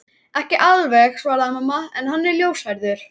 Ekki alveg svaraði mamma, en hann er ljóshærður